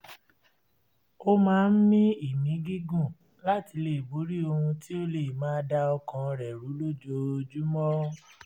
ó máa ń mí ìmí gígùn láti lè borí ohun tí ó lè máa da ọkàn rẹ̀ rú lójoojúmọ́